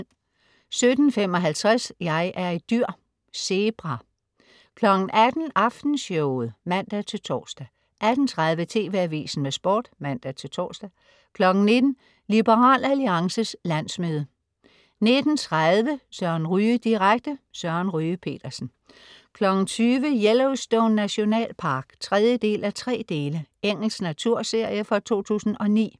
17.55 Jeg er et dyr! Zebra 18.00 Aftenshowet (man-tors) 18.30 TV AVISEN med Sport (man-tors) 19.00 Liberal Alliances landsmøde 19.30 Søren Ryge direkte. Søren Ryge Petersen 20.00 Yellowstone Nationalpark 3:3. Engelsk naturserie fra 2009